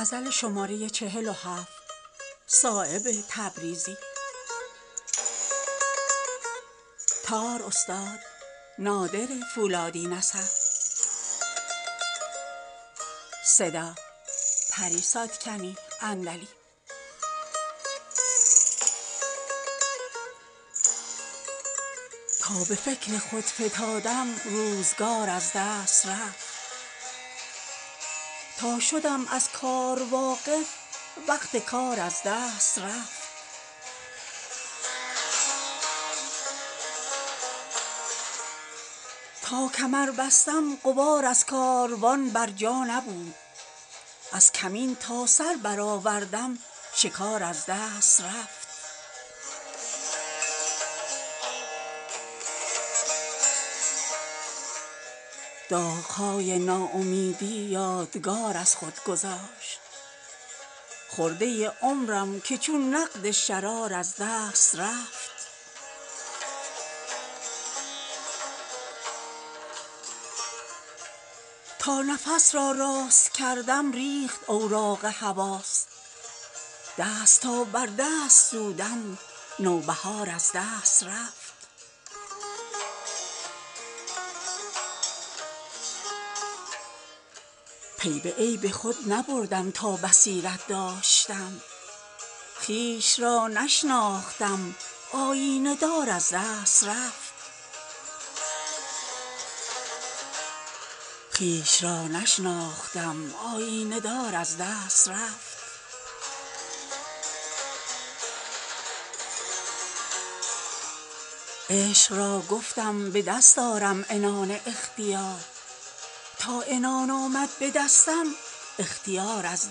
تا به فکر خود فتادم روزگار از دست رفت تا شدم از کار واقف وقت کار از دست رفت قوت سرپنجه مشکل گشای فکر من در ورق گردانی لیل و نهار از دست رفت تا کمر بستم غبار از کاروان بر جا نبود از کمین تا سر برآوردم شکار از دست رفت داغهای ناامیدی یادگار خود گذاشت خرده عمرم که چون نقد شرار از دست رفت تا نفس را راست کردم ریخت اوراق حواس دست تا بر دست سودم نوبهار از دست رفت پی به عیب خود نبردم تا بصیرت داشتم خویش را نشناختم آیینه دار از دست رفت حاصل عمر پریشان روزگارم چون صدف تا نهادم پا ز دریا بر کنار از دست رفت عشق را گفتم به دست آرم عنان اختیار تا عنان آمد به دستم اختیار از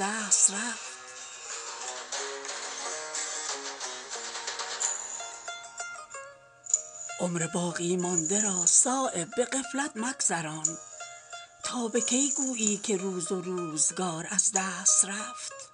دست رفت عمر باقی مانده را صایب به غفلت مگذران تا به کی گویی که روز و روزگار از دست رفت